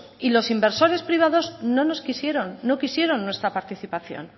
y los inversores privados no nos quisieron no quisieron nuestra participación